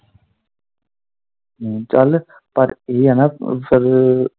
ਚੱਲ ਇਹ ਆ ਨਾ ਫਿਰ ਰ।